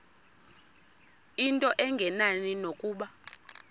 into engenani nokuba